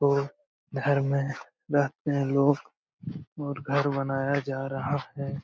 और घर में रहते है लोग ओर घर बनाया जा रहा हैं ।